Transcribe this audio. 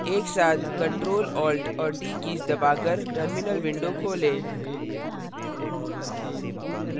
एक साथ ctrl alt और t keys दबाकर terminal window खोलें